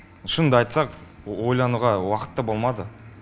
шынымды айтсақ ойлануға уақытта болмады